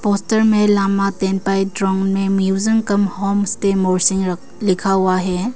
Poster में लामा तेनपाई ड्रोनमे museum cum home stay मोर्शिंग लिखा हुआ है।